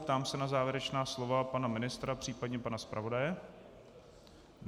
Ptám se na závěrečná slova pana ministra, případně pana zpravodaje.